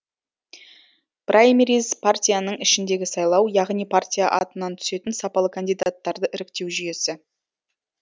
праймериз партияның ішіндегі сайлау яғни партия атынан түсетін сапалы кандидаттарды іріктеу жүйесі